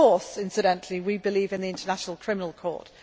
Of course, incidentally, we believe in the International Criminal Court.